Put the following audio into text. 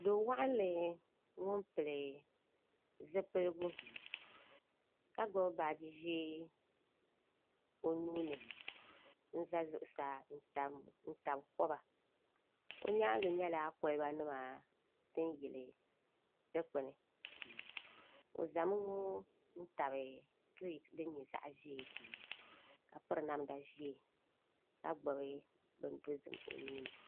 Do waɣanli ŋun pili zipiligu ka gbubi baaji ʒiɛ o nuuni n ʒɛ zuɣusaa n tabi koba o nyaangi nyɛla kolba nima din yili dikpuni o zami ŋo n tabi kirɛt din nyɛ zaɣ ʒiɛ ka piri namda ʒiɛ ka gbubi bin dozim o nuuni